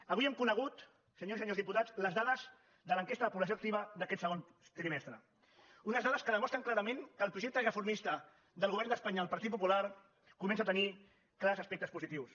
avui hem conegut senyores i senyors diputats les dades de l’enquesta de població activa d’aquest segon trimestre unes dades que demostren clarament que el projecte reformista del govern d’espanya del partit popular comença a tenir clars aspectes positius